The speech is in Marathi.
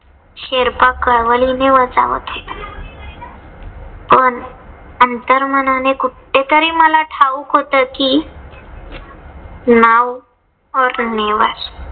शेर्पा कळवळीने बजावत होता. पण अंतर्मनाने कुठे तरी मला ठाऊक होत कि नाव